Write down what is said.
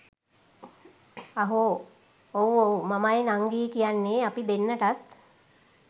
අහ් ඔව් ඔව් මමයි නංගියි කියන්නේ අපි දෙන්නටත්